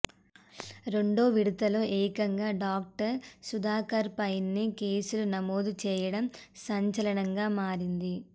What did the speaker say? రెండో విడతలో ఏకంగా డాక్టర్ సుధాకర్పైనే కేసులు నమోదు చేయడం సంచలనంగా మారింది